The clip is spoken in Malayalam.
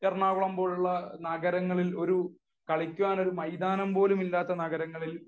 എറണാകുളം പോലുള്ള നഗരങ്ങളിൽ കളിയ്ക്കാൻ ഒരു മൈതാനം പോലും ഇല്ലാത്ത നഗരങ്ങളിൽ